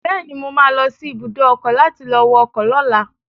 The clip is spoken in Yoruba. Bẹ́ẹ̀ni, mo ma lọ sí ibùdó ọkọ̀ láti lọ wọ ọkọ̀ lọ́la